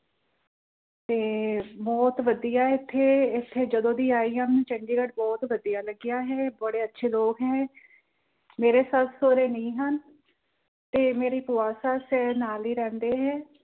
ਤੇ ਬਹੁਤ ਵਧੀਆਂ ਏਥੇ, ਏਥੇ ਜਦੋਂ ਦੀ ਆਈ ਹਾਂ ਚੰਡੀਗੜ ਬਹੁਤ ਵਧੀਆਂ ਲੱਗਿਆ ਹੈ ਬੜੇ ਅੱਛੇ ਲੋਕ ਹੈ, ਮੇਰੇ ਸੱਸ ਸਹੁਰੇ ਨਹੀਂ ਹਨ। ਮੇਰੇ ਭੂਆਂ ਸੱਸ ਏ ਤੇ ਨਾਲ ਹੀ ਰਹਿੰਦੇ ਹਨ।